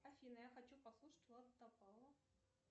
афина я хочу послушать влада топалова